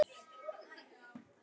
Það er engu öðru líkt.